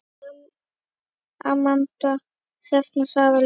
Amanda Sjöfn og Sara Lind.